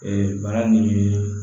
Ee bana nin ye